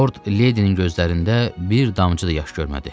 Lord Leydinin gözlərində bir damcı da yaş görmədi.